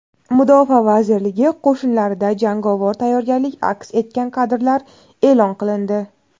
Mudofaa vazirligi qo‘shinlarida jangovar tayyorgarlik aks etgan kadrlar e’lon qilindi.